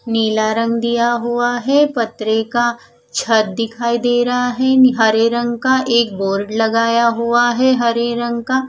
नीला रंग दिया हुआ है पत्रे का छत दिखाई दे रहा है हरे रंग का एक बोर्ड लगाया हुआ है हरे रंग का--